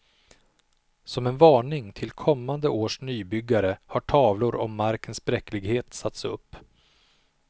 Som en varning till kommande års nybyggare har tavlor om markens bräcklighet satts upp.